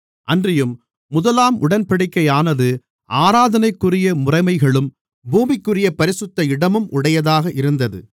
அன்றியும் முதலாம் உடன்படிக்கையானது ஆராதனைக்குரிய முறைமைகளும் பூமிக்குரிய பரிசுத்த இடமும் உடையதாக இருந்தது